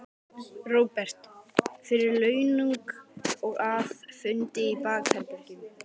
Róbert: Fyrir launung og að, fundi í bakherbergjum?